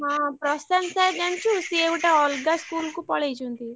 ହଁ ପ୍ରଶାନ୍ତ sir ଜାଣିଛୁ ସିଏ ଗୋଟେ ଅଲଗା school କୁ ପଳେଇଛନ୍ତି।